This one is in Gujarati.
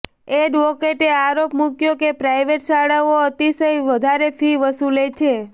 એડવોકેટે આરોપ મુક્યો કે પ્રાઈવેટ શાળાઓ અતિશય વધારે ફી વસુલે છે